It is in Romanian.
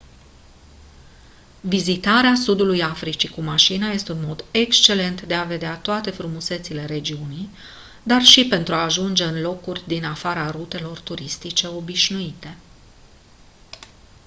vizitarea sudului africii cu mașina este un mod excelent de a vedea toate frumusețile regiunii dar și pentru a ajunge în locuri din afara rutelor turistice obișnuite